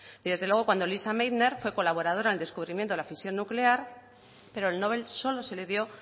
y desde luego cuando lisa meitner fue colaboradora en el descubrimiento de la fusión nuclear pero el nobel solo se le dio